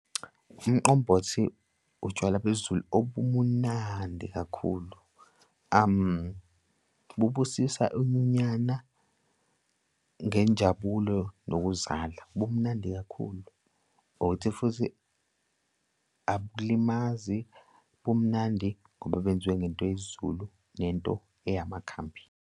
Umqombothi utshwala besiZulu obumunandi kakhulu, bubusisa inyunyana ngenjabulo nokuzala, bumnandi kakhulu. Ukuthi futhi abulimazi bumnandi ngoba benziwe ngento yesiZulu nento eyamakhambi.